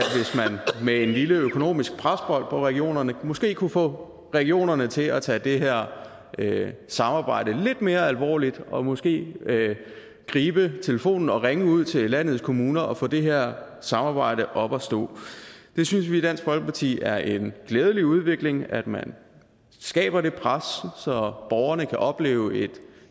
man med et lille økonomisk pres på regionerne måske kunne få regionerne til at tage det her samarbejde lidt mere alvorligt og måske gribe telefonen og ringe ud til landets kommuner og få det her samarbejde op at stå vi synes i dansk folkeparti at det er en glædelig udvikling at man skaber det pres så borgerne kan opleve et